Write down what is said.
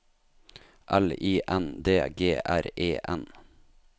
L I N D G R E N